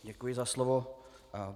Děkuji za slovo.